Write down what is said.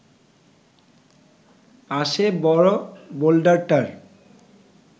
পাশের বড় বোল্ডারটার